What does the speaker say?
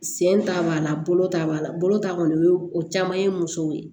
Sen ta b'a la bolo ta b'a la bolo ta kɔni o ye o caman ye musow ye